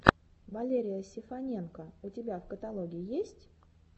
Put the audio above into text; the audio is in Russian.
валерия сефаненко у тебя в каталоге есть